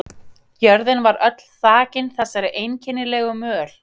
Jörðin var öll þakin þessari einkennilegu möl.